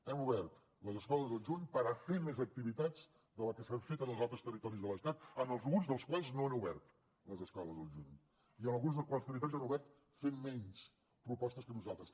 hem obert les escoles el juny per a fer més activitats de les que s’han fet en els altres territoris de l’estat en alguns dels quals no han obert les escoles al juny i en alguns dels quals han obert fent menys propostes que nosaltres